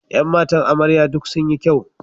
Ƴan matan amarya duk sun yi kyau.